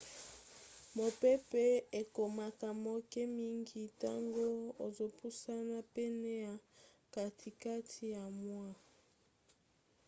mopepe ekomaka moke mingi ntango ozopusana pene ya katikati ya moi